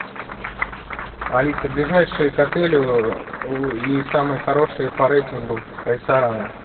алиса ближайшие к отелю и самые хорошие по рейтингу рестораны